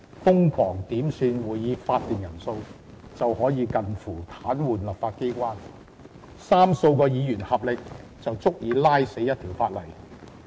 瘋狂點算會議法定人數便可以近乎癱瘓立法機關，三數位議員合力便足以拖垮一項法案。